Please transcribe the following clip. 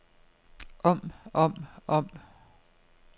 om om om